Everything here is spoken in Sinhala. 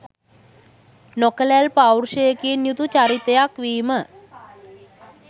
නොකැළැල් පෞරුෂයකින් යුතු චරිතයක් වීම